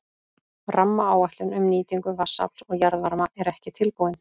Rammaáætlun um nýtingu vatnsafls og jarðvarma er ekki tilbúin.